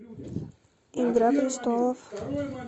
игра престолов